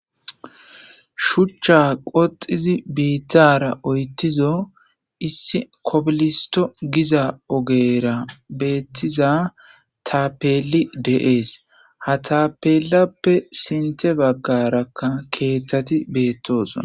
Shucha qodhizi bitara oytizo issi kobilisto giza ogera betiza tapeli de'es ha tapelape sinte bagaraka kethati betosona.